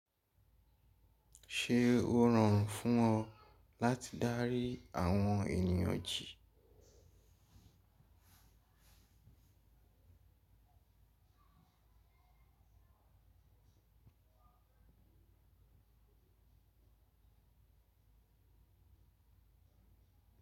Ṣe o rọrùn fún ọ láti dárí àwọn ènìyàn jẹ?